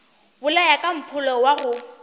bolaya ka mpholo wa go